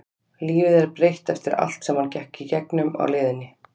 Lífið er breytt eftir allt sem hann gekk í gegnum á leiðinni.